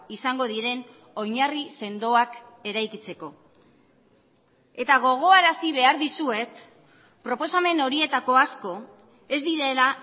izango diren oinarri sendoak eraikitzeko eta gogoarazi behar dizuet proposamen horietako asko ez direla